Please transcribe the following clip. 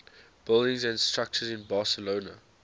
buildings and structures in barcelona